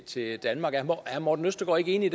til danmark er herre morten østergaard ikke enig